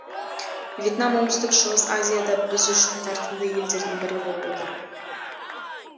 вьетнам оңтүстік шығыс азияда біз үшін тартымды елдердің бірі болып отыр